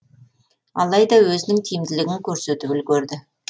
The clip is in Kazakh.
алайда өзінің тиімділігін көрсетіп үлгерді